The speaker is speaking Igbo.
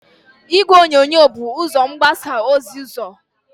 Igwe onyonyo bu ụzó mgbasa ozi ọzọ.